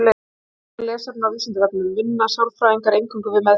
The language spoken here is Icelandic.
Frekara lesefni á Vísindavefnum: Vinna sálfræðingar eingöngu við meðferð?